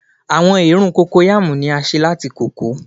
Awọn eerun Cocoyam ni a ṣe lati koko